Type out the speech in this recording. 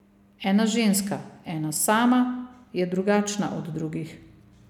Ena ženska, ena sama, je drugačna od drugih.